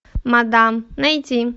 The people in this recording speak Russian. мадам найти